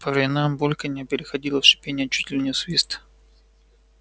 по временам бульканье переходило в шипение чуть ли не в свист